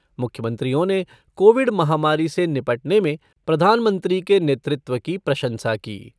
मुख्यमंत्रियों ने कोविड महामारी से निपटने में प्रधानमंत्री के नेतृत्व की प्रशंसा की।